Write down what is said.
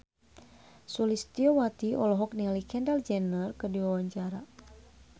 Sulistyowati olohok ningali Kendall Jenner keur diwawancara